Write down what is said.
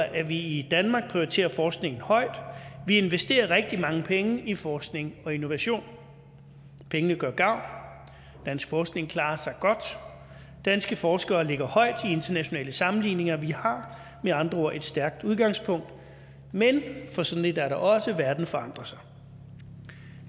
at vi i danmark prioriterer forskning højt vi investerer rigtig mange penge i forskning og innovation pengene gør gavn dansk forskning klarer sig godt danske forskere ligger højt i internationale sammenligninger vi har med andre ord et stærkt udgangspunkt men for sådan et er der også verden forandrer sig